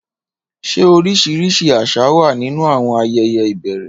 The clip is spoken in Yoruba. Ṣé oríṣiríṣi àṣà wà nínú àwọn ayẹyẹ ìbẹ̀rẹ̀?